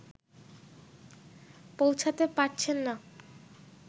পৌঁছতে পারছেন না